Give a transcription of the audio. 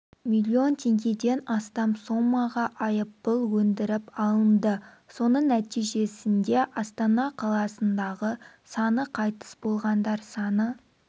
миллион теңгеден астам соммаға айыппұл өндіріп алынды соның нәтижесінде астана қаласындағы саны қайтыс болғандар саны